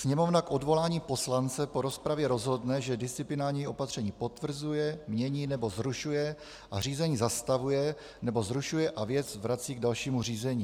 "Sněmovna k odvolání poslance po rozpravě rozhodne, že disciplinární opatření potvrzuje, mění nebo zrušuje a řízení zastavuje nebo zrušuje a věc vrací k dalšímu řízení."